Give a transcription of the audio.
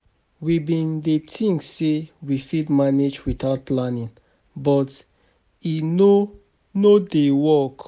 We bin dey tink sey we fit manage witout planning, but e no no dey work.